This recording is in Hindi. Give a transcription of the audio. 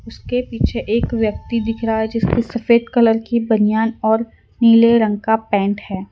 उसके पीछे एक व्यक्ति दिख रहा है जिसके सफेद कलर की बनियान और नीले रंग का पैंट है।